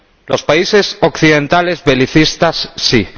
Los países occidentales belicistas, sí.